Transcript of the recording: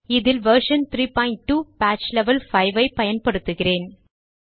இதில் version 32 patch level 5 ஐப் பயன்படுத்துகிறேன்